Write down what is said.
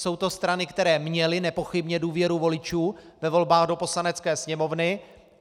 Jsou to strany, které měly nepochybně důvěru voličů ve volbách do Poslanecké sněmovny.